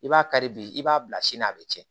I b'a kari bi i b'a bila sini na a bɛ cɛn